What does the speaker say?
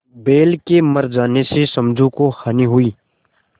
बैल के मर जाने से समझू को हानि हुई